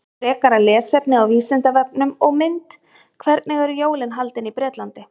Frekara lesefni á Vísindavefnum og mynd Hvernig eru jólin haldin í Bretlandi?